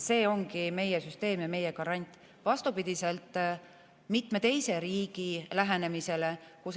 See ongi meie süsteem, vastupidi mitme teise riigi lähenemisele.